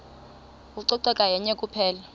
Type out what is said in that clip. ucoceko yenye kuphela